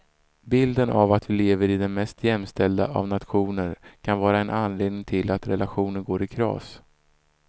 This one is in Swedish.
Bilden av att vi lever i den mest jämställda av nationer kan vara en anledning till att relationer går i kras.